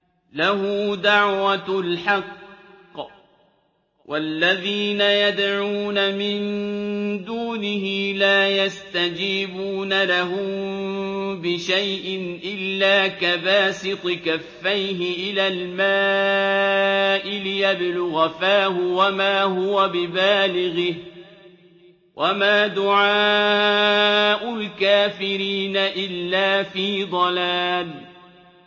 لَهُ دَعْوَةُ الْحَقِّ ۖ وَالَّذِينَ يَدْعُونَ مِن دُونِهِ لَا يَسْتَجِيبُونَ لَهُم بِشَيْءٍ إِلَّا كَبَاسِطِ كَفَّيْهِ إِلَى الْمَاءِ لِيَبْلُغَ فَاهُ وَمَا هُوَ بِبَالِغِهِ ۚ وَمَا دُعَاءُ الْكَافِرِينَ إِلَّا فِي ضَلَالٍ